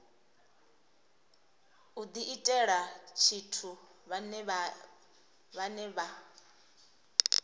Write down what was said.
u diitela tshithu vhane vha